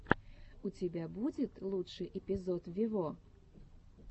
у тебя будет лучший эпизод вево